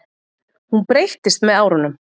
Hún breyttist með árunum.